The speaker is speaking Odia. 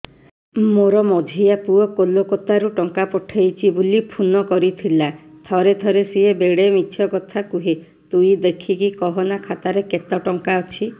ମୋର ମଝିଆ ପୁଅ କୋଲକତା ରୁ ଟଙ୍କା ପଠେଇଚି ବୁଲି ଫୁନ କରିଥିଲା ଥରେ ଥରେ ସିଏ ବେଡେ ମିଛ କଥା କୁହେ ତୁଇ ଦେଖିକି କହନା ଖାତାରେ କେତ ଟଙ୍କା ଅଛି